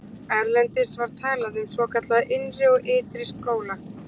Erlendis var talað um svokallaða innri og ytri skóla.